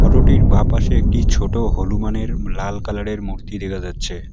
Photo -টির বাঁপাশে একটি ছোটো হনুমানের লাল কালার -এর মূর্তি দেখা যাচ্ছে।